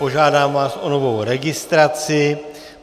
Požádám vás o novou registraci.